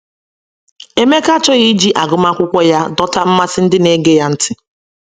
Emeka achọghị iji agụmakwụkwọ ya dọta mmasị ndị na - ege ya ntị.